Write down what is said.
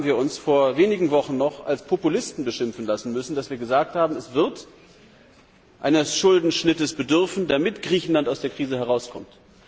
Dafür haben wir uns vor wenigen Wochen noch als Populisten beschimpfen lassen müssen, als wir gesagt haben, es wird eines Schuldenschnittes bedürfen, damit Griechenland aus der Krise herauskommt.